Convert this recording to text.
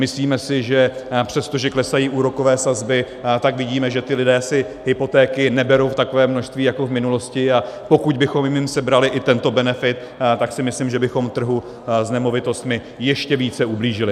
Myslíme si, že přestože klesají úrokové sazby, tak vidíme, že ti lidé si hypotéky neberou v takovém množství jako v minulosti, a pokud bychom jim sebrali i tento benefit, tak si myslím, že bychom trhu s nemovitostmi ještě více ublížili.